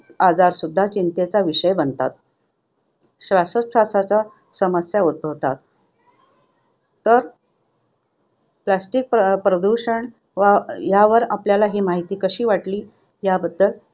आजार चिंतेचा विषय बनतात. श्वासोच्छवासाच्या समस्या उद्भवतात, तर plastic प्रदूषण यावर आपल्याला ही माहिती कशी वाटली याबद्दल